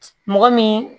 Mɔgɔ min